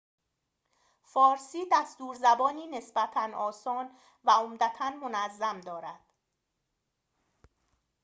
فارسی دستور زبانی نسبتاً آسان و عمدتاً منظم دارد